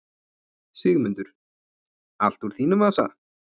Sigmundur: Allt úr þínum vasa?